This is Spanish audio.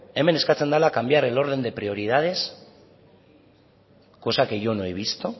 hemen eskatzen dela cambiar el orden de prioridades cosa que yo no he visto